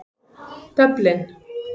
Dublin